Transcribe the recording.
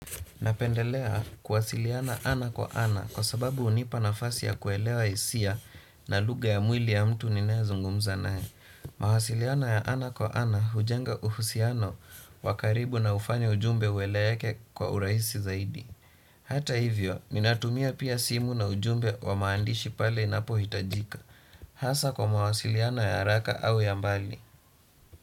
Napendelea kuwasiliana ana kwa ana kwa sababu hunipa nafasi ya kuelewa hisia na lugha ya mwili ya mtu ninaye zungumza naye. Mawasiliano ya ana kwa ana hujenga uhusiano wa karibu na hufanya ujumbe ueleke kwa urahisi zaidi. Hata hivyo, ninatumia pia simu na ujumbe wa maandishi pale inapohitajika. Hasa kwa mawasiliano ya haraka au ya mbali.